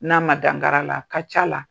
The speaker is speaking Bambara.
N'a ma da ngara la, a ka ca la.